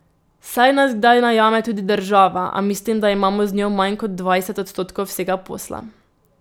Saj nas kdaj najame tudi država, a mislim, da imamo z njo manj kot dvajset odstotkov vsega posla.